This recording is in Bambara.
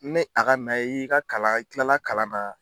Ni a ka na ,i y'i ka kala, ni tilala kalan na.